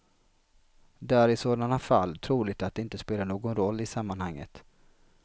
Det är i sådana fall troligt att det inte spelar någon roll i sammanhanget.